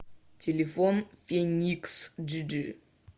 телефон фениксджиджи